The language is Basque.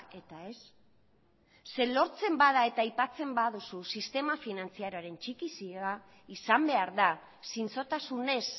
eta ez zeren lortzen bada eta aipatzen baduzu sistema finantzarioaren txikizioa izan behar da zintzotasunez